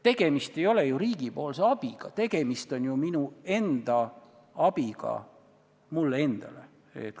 Tegemist ei ole ju riigipoolse abiga, tegemist on ju minu enda abiga mulle endale.